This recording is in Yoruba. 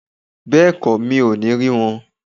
Bẹ́ẹ̀kọ́, mi o ní rí wọn